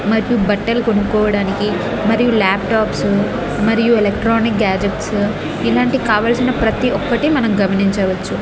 మరియు బట్టలు కొనుకోడానికి మరియు లాప్టాప్స్ మరియు ఎలెక్ట్రానిక్ గ్యాడ్జెట్స్ ఇలాంటి కావలసిన ప్రతి ఒక్కటి మనం గమనించవచ్చు.